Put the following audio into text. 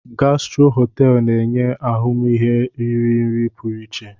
Gastro Hotel na-enye ahụmihe iri nri pụrụ iche.